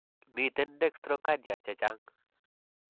Miten dextcrocardia chechang'.